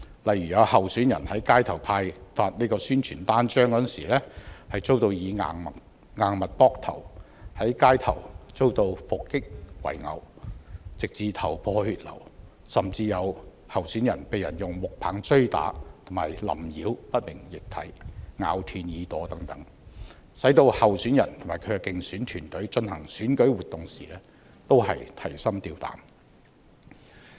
例如有候選人在街頭派發宣傳單張時遭硬物扑頭、在街頭遭到伏擊圍毆，弄至頭破血流，甚至有候選人被人用木棒追打和淋澆不明液體、咬斷耳朵等，使候選人及其競選團隊進行選舉活動時均提心吊膽。